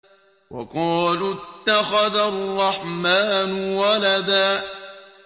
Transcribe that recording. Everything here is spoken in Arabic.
وَقَالُوا اتَّخَذَ الرَّحْمَٰنُ وَلَدًا